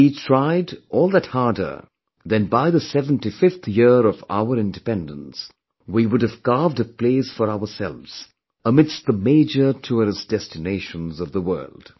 If we tried all that harder, then by the 75th year of our independence, we would have carved a place for ourselves amidst the major tourist destinations of the world